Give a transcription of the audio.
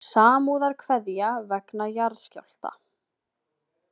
Samúðarkveðja vegna jarðskjálfta